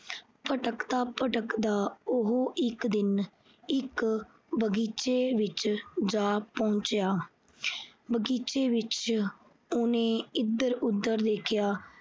ਭਟਕਦਾ ਭਟਕਦਾ ਉਹ ਇਕ ਦਿਨ ਇਕ ਬਗੀਚੇ ਵਿੱਚ ਜਾ ਪਹੁੰਚਿਆ। ਬਗੀਚੇ ਵਿੱਚ ਉਹਨੇ ਇਧਰ ਉਧਰ ਦੇਖਿਆ।